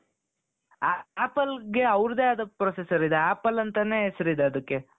ಆ appleಗೆ ಅವರದ್ದೇ ಆದ processor ಇದೆ apple ಅಂತಾನೆ ಹೆಸರಿದೆ ಅದಕ್ಕೆ